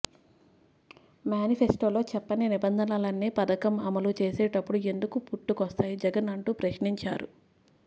మ్యానిఫెస్టోలో చెప్పని నిబంధనలన్నీ పథకం అమలు చేసేటప్పుడు ఎందుకు పుట్టుకొస్తాయి జగన్ అంటూ ప్రశ్నించారు